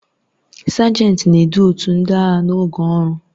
Sajenti na-edu otu ndị agha n'oge ọrụ.